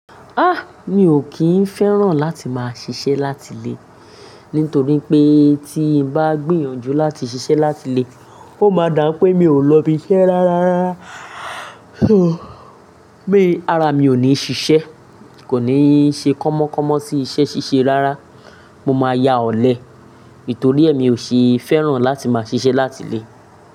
Mi ò kín féràn láti máa ṣíṣe láti lé, nítorí pé tí n bá gbìyànjú láti ṣíṣe láti lé, ó máa dà pé mi ò lọ ibiṣẹ́ rárá rárá Ara mi ò ní ṣiṣẹ́, kò ní ṣe kọ́mọ kọ́mọ tí iṣẹ́ ṣíṣe rárá, mo máa ya ọ̀lẹ. Nítorí ẹ mi ò ṣe féràn láti máa ṣíṣe láti lé.